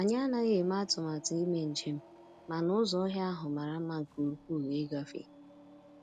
Anyị anaghị eme atụmatụ ime njem, mana ụzọ ọhịa ahụ mara mma nke ukwuu ịgafe.